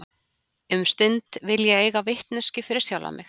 Um stund vil ég eiga vitneskjuna fyrir sjálfa mig.